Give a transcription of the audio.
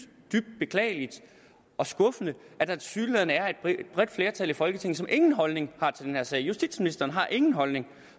beklageligt og skuffende at der tilsyneladende er et bredt flertal i folketinget som ingen holdning har til den her sag justitsministeren har ingen holdning